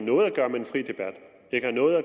ikke noget at